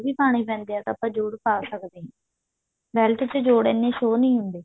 ਵੀ ਪਾਣੇ ਪੈਂਦੇ ਹੈ ਤਾਂ ਆਪਾਂ ਜੋੜ ਪਾ ਸਕਦੇ ਹਾਂ belt ਚ ਜੋੜ ਇੰਨੇ show ਨੀ ਹੁੰਦੇ